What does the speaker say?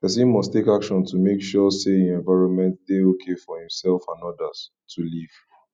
persin must take actions to make sure say im environment de okay for imself and others to live